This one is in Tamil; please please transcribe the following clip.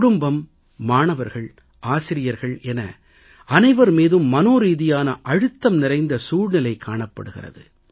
குடும்பம் மாணவர்கள் ஆசிரியர்கள் என அனைவர் மீதும் மனோரீதியான அழுத்தம் நிறைந்த சூழ்நிலை காணப்படுகிறது